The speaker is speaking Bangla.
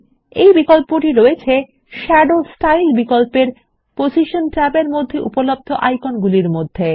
এইটা এখানে দৃশ্যমান শাদো স্টাইল বিকল্পের পজিশন ট্যাবের মধ্যে উপলব্ধ বিভিন্ন আইকন মধ্যে